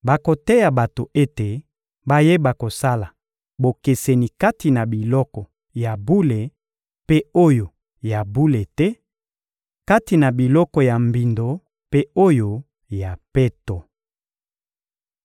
Bakoteya bato ete bayeba kosala bokeseni kati na biloko ya bule mpe oyo ya bule te, kati na biloko ya mbindo mpe oyo ya peto.